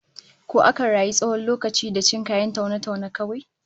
Ko akan rayu tsawon lokaci da cin kayan taune-taune kawai?